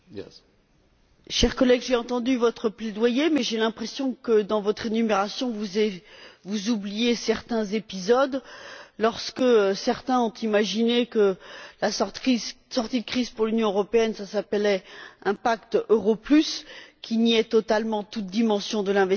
Chère collègue, j'ai entendu votre plaidoyer, mais j'ai l'impression que, dans votre énumération, vous oubliez certains épisodes, comme lorsque certains ont imaginé que la sortie de crise pour l'Union européenne passerait par un pacte euro plus qui niait totalement toute dimension de l'investissement social